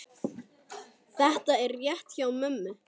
Þetta er rétt hjá mömmu.